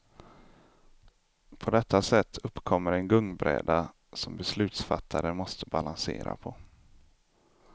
På detta sätt uppkommer en gungbräda som beslutsfattare måste balansera på.